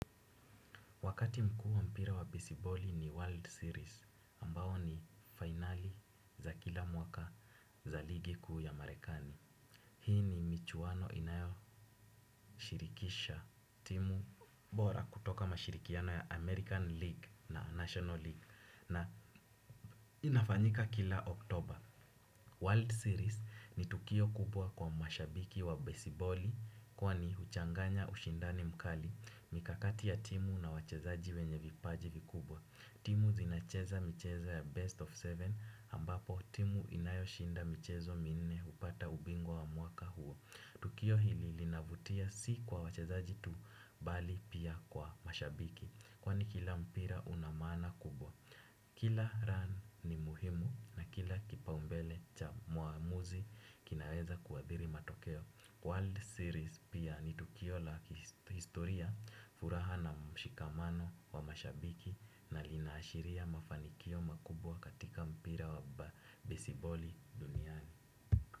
Wakati mkuu wa mpira wa besiboli ni World Series ambao ni finali za kila mwaka za ligi kuu ya Marekani. Hii ni michuano inayo shirikisha timu bora kutoka mashirikiano ya American League na National League na inafanyika kila Oktober. World Series ni tukio kubwa kwa mashabiki wa besiboli kwani huchanganya ushindani mkali mikakati ya timu na wachezaji wenye vipaji vikubwa. Timu zinacheza micheza ya best of seven ambapo timu inayoshinda michezo minne hupata ubingwa wa mwaka huo. Tukio hili linavutia si kwa wachezaji tu bali pia kwa mashabiki. Kwani kila mpira una maana kubwa. Kila run ni muhimu na kila kipaumbele cha muamuzi kinaweza kuadhiri matokeo. World Series pia ni tukio la historia furaha na mshikamano wa mashabiki na linaashiria mafanikio makubwa katika mpira wa besiboli duniani.